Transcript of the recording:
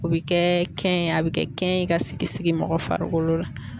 O be kɛ kɛn ye a be kɛ kɛn ye ka sigi mɔgɔ farikolo la